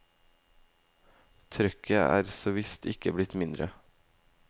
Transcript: Trøkket er såvisst ikke blitt mindre.